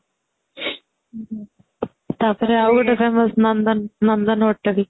ତା ପରେ ଆଉ ଗୋଟେ famous ନନ୍ଦନ ନନ୍ଦନ hotel